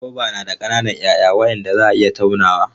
Goba na da ƙananan 'ya'ya waɗanda za a iya taunawa.